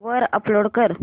वर अपलोड कर